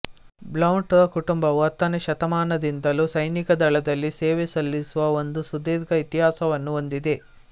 Blount ರ ಕುಟುಂಬವು ಹತ್ತನೆ ಶತಮಾನದಿಂದಲೂ ಸೈನಿಕ ದಳದಲ್ಲಿ ಸೇವೆ ಸಲ್ಲಿಸುವ ಒಂದು ಸುಧೀರ್ಘ ಇತಿಹಾಸವನ್ನು ಹೊಂದಿದೆ